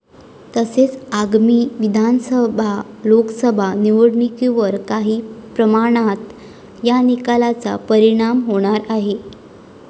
तसेच आगामी विधानसभा, लोकसभा निवडणुकीवर काही प्रमाणात या निकालाचा परिणाम होणार आहे.